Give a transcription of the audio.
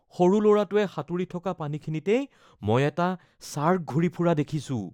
সৰু ল’ৰাটোৱে সাঁতুৰি থকা পানীখিনিতেই মই এটা শ্বাৰ্ক ঘূৰি ফুৰা দেখিছোঁ৷